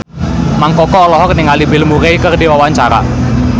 Mang Koko olohok ningali Bill Murray keur diwawancara